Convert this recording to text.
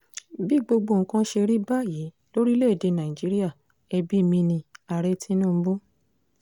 bí gbogbo nǹkan ṣe rí báyìí lórílẹ̀‐èdè nàíjíríà ẹbí mi ní-ààrẹ tinubu